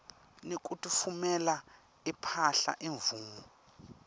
nekutfumela imphahla imvumo